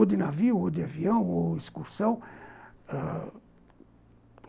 Ou de navio, ou de avião, ou excursão ãh